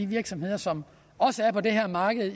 virksomheder som også er på det her marked